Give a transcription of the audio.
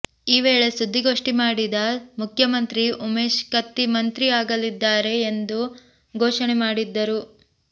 ಈ ವೇಳೆ ಸುದ್ದಿಗೋಷ್ಟಿ ಮಾಡಿದ್ದ ಮುಖ್ಯಮಂತ್ರಿ ಉಮೇಶ್ ಕತ್ತಿ ಮಂತ್ರಿ ಆಗಲಿದ್ದಾರೆ ಎಂದು ಘೋಷಣೆ ಮಾಡಿದ್ದರು